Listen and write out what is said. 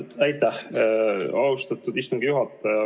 Aitäh, austatud istungi juhataja!